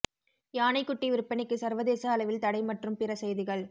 யானை குட்டி விற்பனைக்கு சர்வதேச அளவில் தடை மற்றும் பிற செய்திகள்